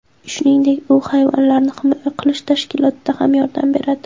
Shuningdek, u hayvonlarni himoya qilish tashkilotiga ham yordam beradi.